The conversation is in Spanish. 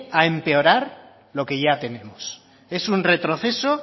a empeorar lo que ya tenemos es un retroceso